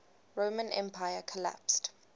roman empire collapsed